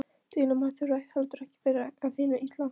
Deilumál þurfa heldur ekki að vera af hinu illa.